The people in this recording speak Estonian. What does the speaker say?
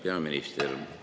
Hea peaminister!